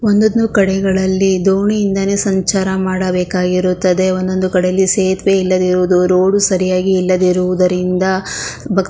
ಒಂದೊಂದು ಕಡೆಗಳಲ್ಲಿ ದೋಣಿಯಿಂದನೇ ಸಂಚಾರ ಮಾಡಬೇಕಾಗಿರುತ್ತದೆ ಒಂದೊಂದು ಕಡೆಯಲ್ಲಿ ಸೇತುವೆ ಇಲ್ಲದೆ ಇರುವುದು ರೋಡ್ ಸರಿಯಾಗಿ ಇಲ್ಲದೆ ಇರುವುದರಿಂದ ಬಸ್ --